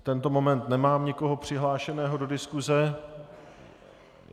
V tento moment nemám nikoho přihlášeného do diskuse.